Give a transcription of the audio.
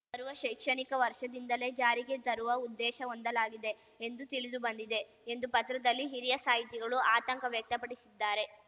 ಬರುವ ಶೈಕ್ಷಣಿಕ ವರ್ಷದಿಂದಲೆ ಜಾರಿಗೆ ತರುವ ಉದ್ದೇಶ ಹೊಂದಲಾಗಿದೆ ಎಂದು ತಿಳಿದುಬಂದಿದೆ ಎಂದು ಪತ್ರದಲ್ಲಿ ಹಿರಿಯ ಸಾಹಿತಿಗಳು ಆತಂಕ ವ್ಯಕ್ತಪಡಿಸಿದ್ದಾರೆ